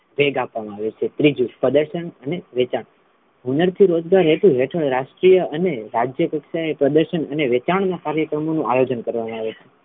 વેગ આપવામા આવે છે ત્રીજુ પ્રદર્શન અને વેચાણ હુનર થી હેતભર રહેતુ રાષ્ટ્રીય અને રાજ્ય કક્ષાએ પ્રદર્શન અને વેચાણ ના કાર્યક્રમો નું આયોજન કરવામા આવે છે.